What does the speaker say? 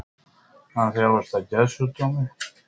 Hann þjáist af geðsjúkdómi